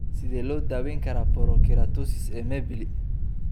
Sidee loo daweyn karaa porokeratosis ee Mibelli?